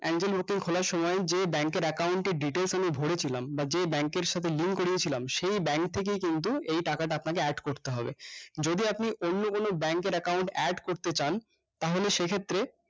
খোলার সময় যে bank এর account এর details আমি ভরেছিলাম বা যে bank এর সাথে link করিয়েছিলাম সেই bank থেকেই কিন্তু এই টাকাটা আপনাকে add করতে হবে যদি আপনি অন্য কোনো bank এর account add করতে চান তাহলে সেক্ষেত্রে